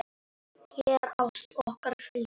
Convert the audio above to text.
Þér ást okkar fylgi.